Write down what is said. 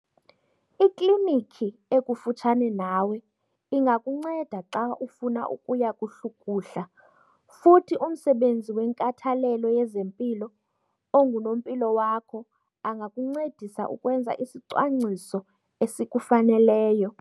Ikliniki ekufutshane nawe ingakunceda xa ufuna ukuya kuhlukuhla futhi umsebenzi wenkathalelo yezempilo ongunompilo wakho angakuncedisa ukwenza isicwangciso esikufaneleyo